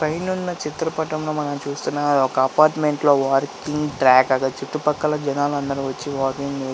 పైనున్న చిత్రపటంలో మనం చూస్తున్నాము అది ఒక అపార్ట్మెంట్ లో వాకింగ్ ట్రాక్ అది. చుట్టుపక్కల జనాలు అందరూ వచ్చి వాకింగ్ --